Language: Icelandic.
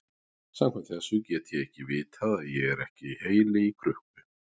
Samkvæmt þessu get ég vitað að ég er ekki heili í krukku.